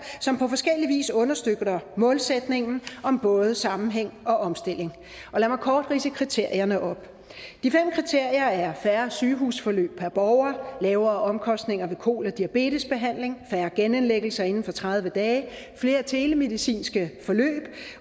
som på forskellig vis understøtter målsætningen om både sammenhæng og omstilling og lad mig kort ridse kriterierne op de fem kriterier er færre sygehusforløb per borger lavere omkostninger ved kol og diabetesbehandling færre genindlæggelser inden for tredive dage flere telemedicinske forløb